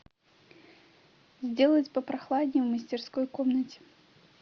сделать попрохладнее в мастерской комнате